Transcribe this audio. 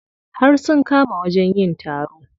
Har sun kama wajen yin taron.